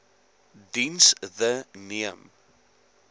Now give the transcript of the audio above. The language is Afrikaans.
diens the neem